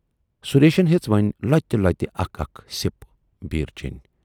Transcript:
سُریشن ہیژ وۅنۍ لۅتہِ لۅتہِ اکھ اکھ سِپ بیٖر چینۍ۔